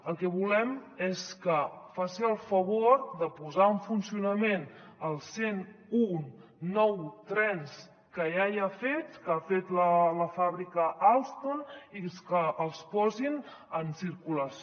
el que volem és que faci el favor de posar en funcionament els cent un nou trens que ja hi ha fets que ha fet la fàbrica alstom i que els posin en circulació